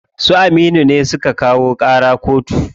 Su Aminu ne suka kawo ƙara koto.